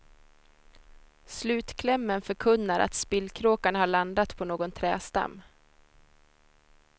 Slutklämmen förkunnar att spillkråkan har landat på någon trädstam.